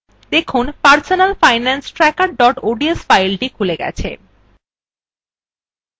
দেখুন personal finance tracker ods file খুলে গেছে